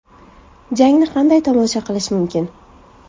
Jangni qanday tomosha qilish mumkin?.